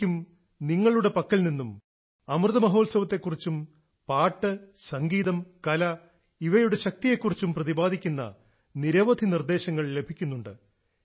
എനിക്കും നിങ്ങളുടെ പക്കൽ നിന്നും അമൃത മഹോത്സവത്തെക്കുറിച്ചും പാട്ട് സംഗീതം കല ഇവയുടെ ശക്തിയെക്കുറിച്ചും പ്രദിപാദിക്കുന്ന നിരവധി നിർദ്ദേശങ്ങൾ ലഭിക്കുന്നുണ്ട്